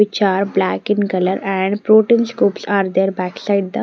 Which are black in color and protein scopes are there backside the--